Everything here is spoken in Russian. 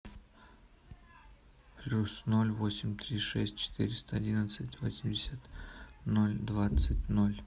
плюс ноль восемь три шесть четыреста одиннадцать восемьдесят ноль двадцать ноль